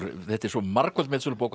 þetta er svo margföld metsölubók